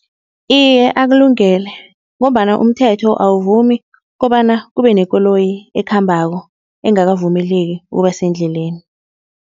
Iye akulungele, ngombana umthetho awuvumi kobana kube nekoloyi ekhambako engakavumeleki ukuba sendleleni.